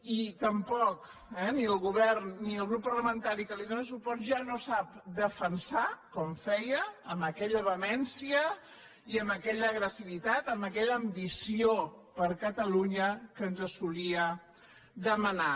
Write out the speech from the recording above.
i tampoc el govern ni el grup parlamentari que li dóna suport ja no sap defensar com feia amb aquella vehemència i amb aquella agressivitat amb aquella ambició per catalunya que ens solia demanar